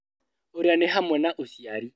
Ũrĩa nĩ hamwe na ũciari